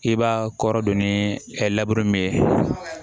I b'a kɔrɔ don ni min ye